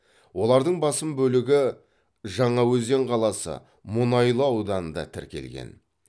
олардың басым бөлігі жаңаөзен қаласы мұнайлы ауданында тіркелген